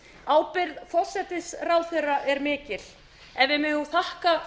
ábyrgð forsætisráðherra er mikið en við megum þakka